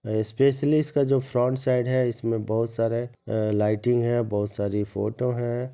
Especially इसका जो front side है इसमें बहुत सारे अ लाइटिंग है बहुत सारी फोटो है।